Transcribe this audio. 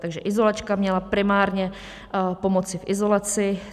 Takže izolačka měla primárně pomoci v izolaci.